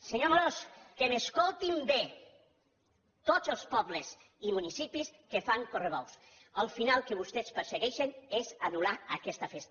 senyor amorós que m’escoltin bé tots els pobles i municipis que fan correbous el final que vostès persegueixen és anul·lar aquesta festa